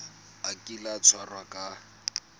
a kile a tshwarwa ka